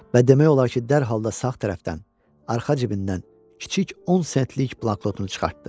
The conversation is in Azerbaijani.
Və demək olar ki, dərhal da sağ tərəfdən, arxa cibindən kiçik 10 sentlik bloknotunu çıxartdı.